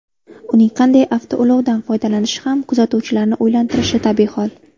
Uning qanday avtoulovdan foydalanishi ham kuzatuvchilarni o‘ylantirishi tabiiy hol.